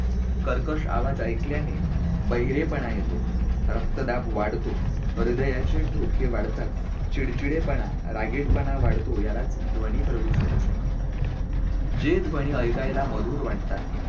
कर्कश आवाज ऐकल्याने बहिरेपणा येतो, रक्तदाब वाढतो, हृदयाचे ठोके वाढतात. चिडचिडेपणा, रागीटपणा वाढतो यालाच ध्वनी प्रदूषण असे म्हणतात. जे ध्वनी ऐकायला मधुर वाटतात,